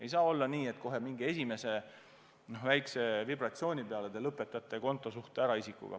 Ei saa olla nii, et kohe mingi esimese väikse vibratsiooni peale te lõpetate isikuga kontosuhte ära.